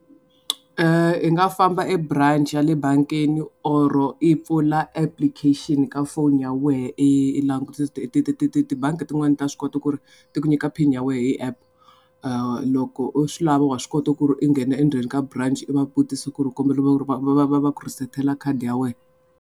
I nga famba ebanch ya le bangini or i pfula application ka phone ya wehe i langutisa ti ti ti ti tibangi tin'wani ta swi kota ku ri ti ku nyika pin ya wehe hi app loko u swi lava wa swi kota ku ri i nghena endzeni ka branch i va vutisa ku ri va va va va ku resert-ela khadi ya wena.